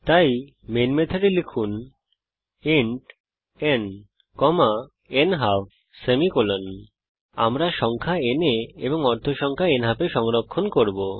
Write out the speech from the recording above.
তাই মেন মেথডে লিখুন ইন্ট ন নালফ আমরা সংখ্যা n এ এবং অর্ধ সংখ্যা নালফ এ সংরক্ষণ করব